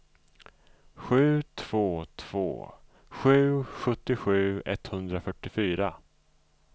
sju två två sju sjuttiosju etthundrafyrtiofyra